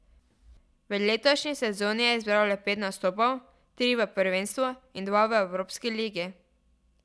V letošnji sezoni je zbral le pet nastopov, tri v prvenstvu in dva v evropski ligi.